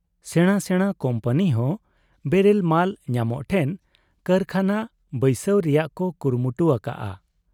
ᱥᱮᱬᱟ ᱥᱮᱬᱟ ᱠᱩᱢᱯᱟᱹᱱᱤᱦᱚᱸ ᱵᱮᱨᱮᱞ ᱢᱟᱞ ᱧᱟᱢᱚᱜ ᱴᱷᱮᱱ ᱠᱟᱨᱠᱷᱟᱱᱟ ᱵᱟᱹᱭᱥᱟᱹᱣ ᱨᱮᱭᱟᱜ ᱠᱚ ᱠᱩᱨᱩᱢᱩᱴᱩ ᱟᱠᱟᱜ ᱟ ᱾